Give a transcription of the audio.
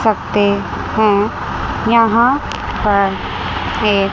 सकते हैं यहां पर एक--